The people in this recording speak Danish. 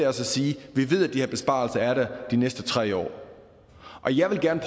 at sige at vi ved at de her besparelser er der de næste tre år og jeg vil gerne